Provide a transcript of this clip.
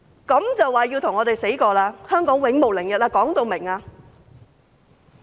這樣便說要與我們拼死，說要香港永無寧日？